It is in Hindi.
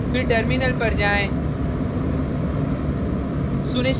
फिर टर्मिनल पर जाएँ